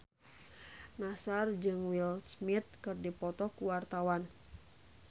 Nassar jeung Will Smith keur dipoto ku wartawan